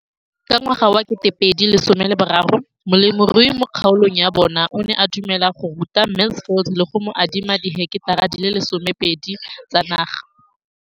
Ka ngwaga wa 2013, molemirui mo kgaolong ya bona o ne a dumela go ruta Mansfield le go mo adima di heketara di le 12 tsa naga.